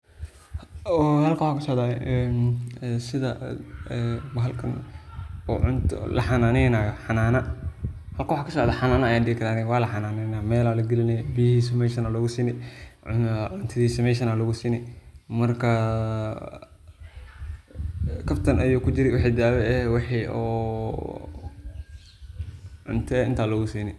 Oo halkan waxa kasocdah een setha bahalkan cunto laxananeynayo xanana wakasocdoh xanana Aya dhe karah walaxananeyna meel Aya lagalinaya helibka meshan Aya lagusini cuntatisa meshan Aya lagu sini marka kabtan ayu kijiri waix dawa eeh wixi oo cuntA intan lagu sini.